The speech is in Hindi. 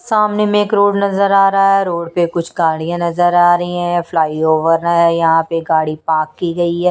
सामने में एक रोड नजर आ रहा है रोड पे कुछ गाड़ियाँ नजर आ रही हैं फ्लाईओवर है यहाँ पे गाड़ी पार्क की गई है।